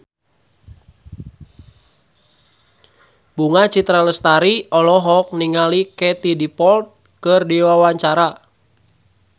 Bunga Citra Lestari olohok ningali Katie Dippold keur diwawancara